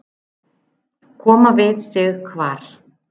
Koma við sig hvar?